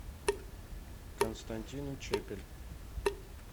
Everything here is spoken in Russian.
константин учепель